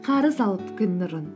қарыз алып күн нұрын